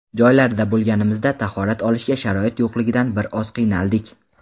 Joylarda bo‘lganimizda tahorat olishga sharoit yo‘qligidan bir oz qiynaldik”.